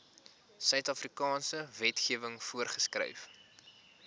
suidafrikaanse wetgewing voorgeskryf